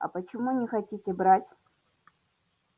а почему не хотите брать